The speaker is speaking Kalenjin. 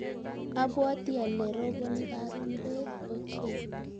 abwatii ale roboni karon beet ochei